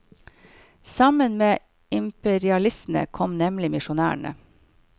Sammen med imperialistene kom nemlig misjonærene.